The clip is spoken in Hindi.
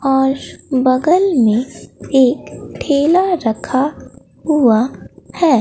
आश बगल में एक ठेला रखा हुआ है।